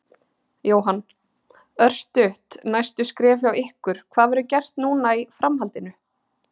Jóhann: Örstutt, næstu skref hjá ykkur, hvað verður gert núna í framhaldinu?